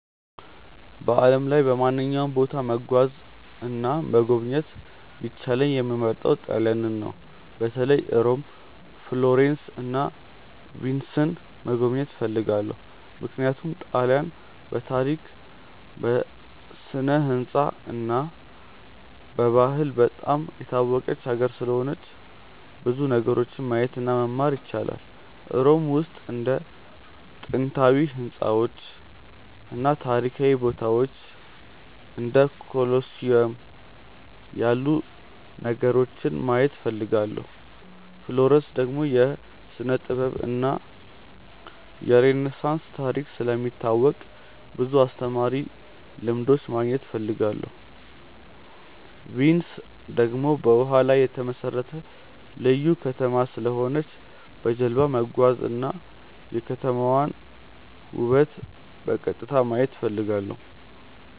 በዓለም ላይ በማንኛውም ቦታ መጓዝ እና መጎብኘት ቢቻለኝ የምመርጠው ጣሊያንን ነው። በተለይ ሮም፣ ፍሎረንስ እና ቪንስን መጎብኘት እፈልጋለሁ። ምክንያቱም ጣሊያንን በታሪክ፣ በስነ-ሕንፃ እና በባህል በጣም የታወቀች ሀገር ስለሆነች ብዙ ነገሮችን ማየት እና መማር ይቻላል። ሮም ውስጥ እንደ ጥንታዊ ሕንፃዎች እና ታሪካዊ ቦታዎች እንደ ኮሎሲየም ያሉ ነገሮችን ማየት እፈልጋለሁ። ፍሎረንስ ደግሞ የስነ-ጥበብ እና የሬነሳንስ ታሪክ ስለሚታወቅ ብዙ አስተማሪ ልምዶች ማግኘት እፈልጋለሁ። ቪንስ ደግሞ በውሃ ላይ የተመሠረተ ልዩ ከተማ ስለሆነች በጀልባ መጓዝ እና የከተማዋን ውበት በቀጥታ ማየት እፈልጋለሁ።